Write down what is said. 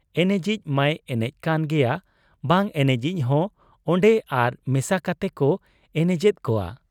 ᱮᱱᱮᱡᱤᱡ ᱢᱟᱭ ᱮᱱᱮᱡ ᱠᱟᱱ ᱜᱮᱭᱟ ᱵᱟᱝ ᱮᱱᱮᱡᱤᱡ ᱦᱚᱸ ᱚᱱᱰᱮ ᱟᱨ ᱢᱮᱥᱟ ᱠᱟᱛᱮᱠᱚ ᱮᱱᱮᱡᱮᱫ ᱠᱚᱣᱟ ᱾